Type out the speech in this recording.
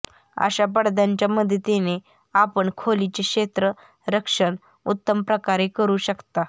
अशा पडद्यांच्या मदतीने आपण खोलीचे क्षेत्ररक्षण उत्तम प्रकारे करू शकता